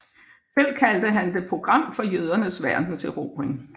Selv kaldte han det Program for jødernes verdenserobring